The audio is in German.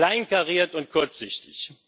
Wie kleinkariert und kurzsichtig!